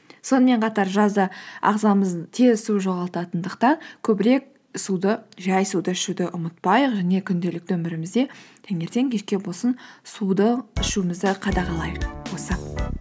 сонымен қатар жазда ағзамыз тез су жоғалтатындықтан көбірек жай суды ішуді ұмытпайық және күнделікті өмірімізде таңертең кешке болсын суды ішуімізді қадағалайық